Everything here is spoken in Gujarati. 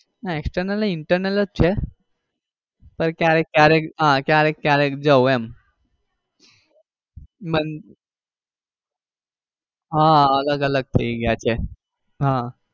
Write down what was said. ના external નઈ internal જ છે પણ ક્યારેક ક્યારેક આહ ક્યારેક ક્યારેક જાઉં એમ આહ અલગ અલગ થઇ ગયા છે. અમ